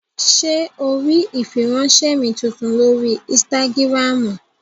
Ṣé o rí ìfiránsẹ́ mi tuntun lórí ínstágíráàmù?